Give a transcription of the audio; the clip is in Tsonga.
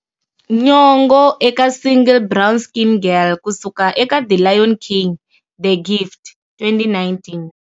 Nyong'o eka single" Brown Skin Girl" ku suka eka"The Lion King-The Gift", 2019.